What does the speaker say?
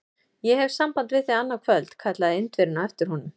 Ég hef samband við þig annað kvöld! kallaði Indverjinn á eftir honum.